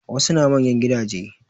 Wasu na manyan gidaje